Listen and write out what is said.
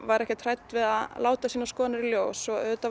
ekkert hrædd við að láta sínar skoðanir í ljós og auðvitað